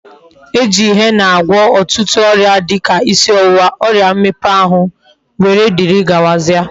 E ji henna agwo otutu oria dika isi owuwa, oria mmepe ahu wdgz.